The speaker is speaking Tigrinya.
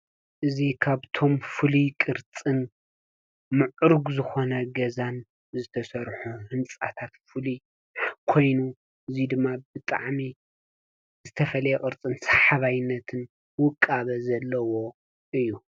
እዚ ካብቶም ፍሉይ ቅርፅን ምዕሩግ ዝኮነ ገዛን ዝተሰርሑ ህንፃታት ፍሉይ ኮይኑ እዚ ድማ ብጣዕሚ ዝተፈለየ ቅርፅን ሰሓባይነትን ውቃበ ዘለዎ እዩ።